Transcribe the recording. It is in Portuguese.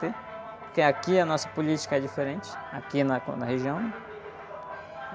Porque aqui a nossa política é diferente, aqui na co, na região.